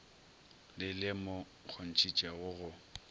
le le mo kgontšhitšego go